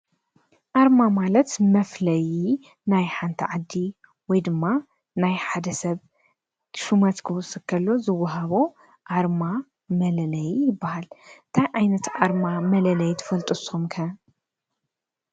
ኣርማ ማለት መፍለይ ናይ ሓንቲ ዓዲ ወይ ድማ ናይ ሓደ ሰብ ሹመት ክዉስኽ ከሎ ዝወሃቦ ኣርማ መለለይ ይባሃል፡፡ እንታይ ዓይነት ኣርማ መለለይ ትፈልጡ ንስኹም ከ?